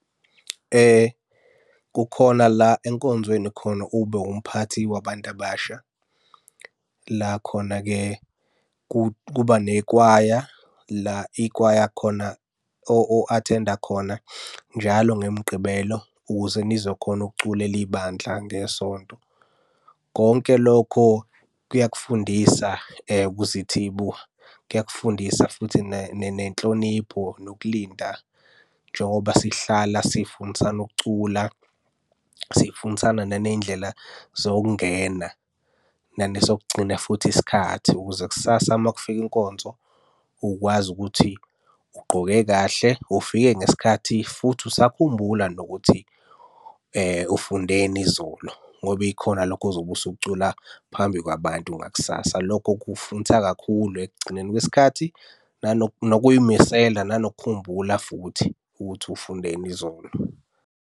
Kukhona la enkonzweni khona ube umphathi wabantu abasha. La khona-ke kuba nakwaya la ikwaya khona o-attend-a khona njalo ngemigqibelo ukuze nizokhona ukuculela ibandla ngeSonto. Konke lokho kuyakufundisa ukuzithibu, kuyakufundisa futhi nenhlonipho, nokulinda. Njengoba sihlala sifundisana ukucula, sifundisane naney'ndlela zokungena, nanesokugcina futhi isikhathi ukuze kusasa uma kufika inkonzo, ukwazi ukuthi ugqoke kahle, ufike ngesikhathi, futhi usakhumbula nokuthi ufundeni izolo, ngoba ikhona lokho ozobe usukucula phambi kwabantu ngakusasa. Lokho kufundisa kakhulu ekugcineni kwesikhathi nokuy'misela nanokukhumbula futhi ukuthi ufundeni izolo.